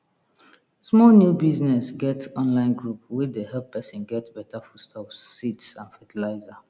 small new business get online group wey dey help person get better foodstuffs seeds and fertilizer